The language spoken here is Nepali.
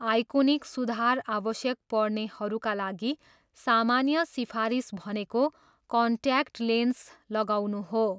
आइकोनिक सुधार आवश्यक पर्नेहरूका लागि सामान्य सिफारिस भनेको कन्ट्याक्ट लेन्स लगाउनु हो।